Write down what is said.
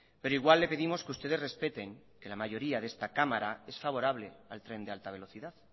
pero igual le pedimos que ustedes respeten que la mayoría de esta cámara es favorable al tren de alta velocidad